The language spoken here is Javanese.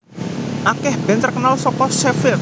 Akeh band terkenal saka Sheffield